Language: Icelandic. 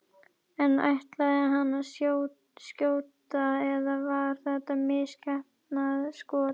En ætlaði hann að skjóta eða var þetta misheppnað skot?